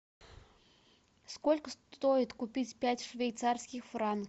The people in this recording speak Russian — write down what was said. сколько стоит купить пять швейцарских франков